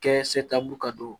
Kɛ seta b'a don